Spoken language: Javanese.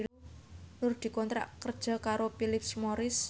Nur dikontrak kerja karo Philip Morris